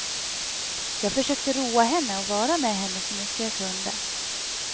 Jag försökte roa henne och vara med henne så mycket jag kunde.